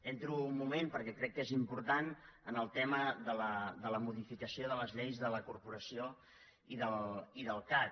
entro un moment perquè crec que és important en el tema de la modificació de les lleis de la corporació i del cac